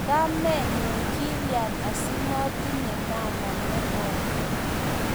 Kamenyu, kilya asimatinye mamaa nekoi?